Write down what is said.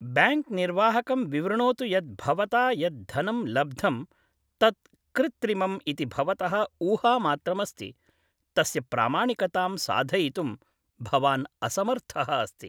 Bank निर्वाहकं विवृणोतु यत् भवता यत् धनं लब्धं तत् कृ्त्रिमम् इति भवतः ऊहामात्रम् अस्ति, तस्य प्रामाणिकतां साधयितुं भवान् असमर्थः अस्ति।